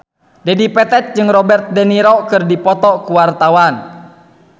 Dedi Petet jeung Robert de Niro keur dipoto ku wartawan